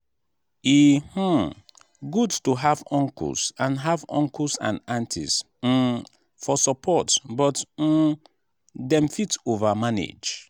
e um good to have uncles and have uncles and aunties um for support but um dem fit over-manage.